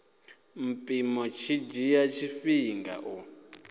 mpimo tshi dzhia tshifhinga u